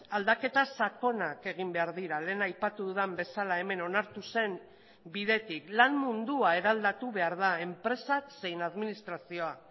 aldaketa sakonak egin behar dira lehen aipatu dudan bezala hemen onartu zen bidetik lan mundua eraldatu behar da enpresak zein administrazioa